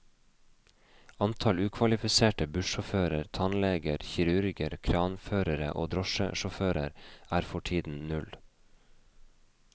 Antall ukvalifiserte bussjåfører, tannleger, kirurger, kranførere og drosjesjåfører er for tiden null.